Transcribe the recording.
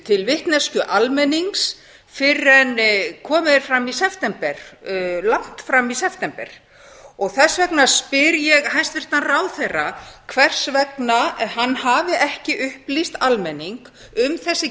til vitneskju almennings fyrr en komið er fram í september langt fram í september og þess vegna spyr ég hæstvirtan ráðherra hvers vegna hann hafi ekki upplýst almenning um þessi